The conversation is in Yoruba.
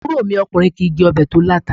Àbúrò mi okùnrin kìí jé obè tó láta